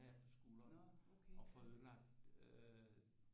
På skulderen og får ødelagt øh